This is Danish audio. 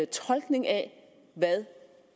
tolkning af hvad